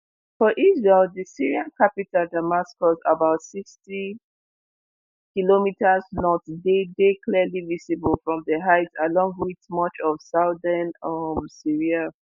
for israel di syrian capital damascus about sixty km north dey dey clearly visible from di heights along with much of southern um syria